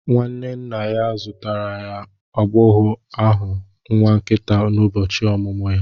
Nwanne nna ya zụtara nwa agbọghọ ahụ nwa nkịta n'ụbọchị ọmụmụ ya